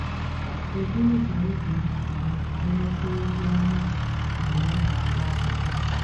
Kédụ ụzọ ị gā-esi mee ka ị ghọ́ta ozi ọma mgbe ị na-agụ akwụkwọ?